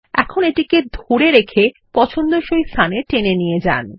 এখন এটিকে ধরে রেখে পছন্দসই স্থানে টেনে নিয়ে যান